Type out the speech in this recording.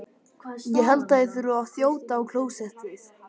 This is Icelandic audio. Ég held ég þurfi að þjóta á klósettið.